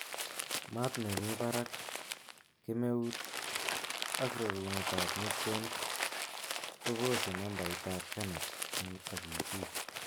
Maat nemi barak, kemeut ak roruunetab nutrients kobose nambaitab kernels ak iitik